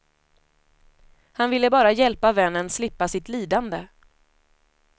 Han ville bara hjälpa vännen slippa sitt lidande.